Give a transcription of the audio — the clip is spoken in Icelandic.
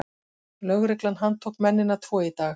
Lögreglan handtók mennina tvo í dag